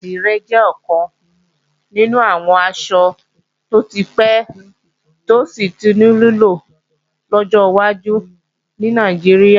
Àdìrẹ jẹ́ ọ̀kan nínú àwọn aṣọ tó ti pẹ́ tí ó sì tún ní lílò lọ́jọ́ wájú ní Nàìjíríà